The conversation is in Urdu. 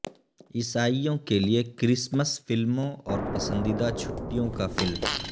عیسائوں کے لئے کرسمس فلموں اور پسندیدہ چھٹیوں کا فلم